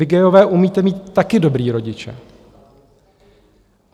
Vy gayové umíte být také dobří rodiče.